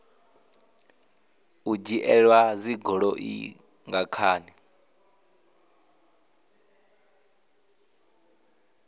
u dzhielwa dzigoloi nga khani